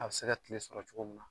A bi se ka kile sɔrɔ cogo min na.